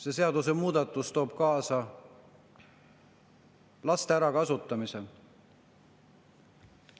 See seadusemuudatus toob kaasa laste ärakasutamise.